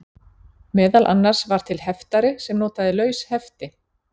Meðal annars var til heftari sem notaði laus hefti.